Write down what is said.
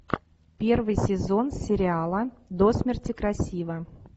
первый сезон сериала до смерти красива